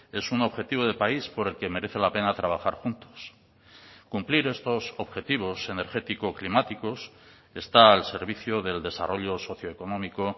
es un objetivo de país por el que merece la pena trabajar juntos cumplir estos objetivos energético climáticos está al servicio del desarrollo socio económico